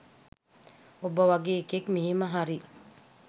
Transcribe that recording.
උඹ වගේ එකෙක් මෙහෙම හරි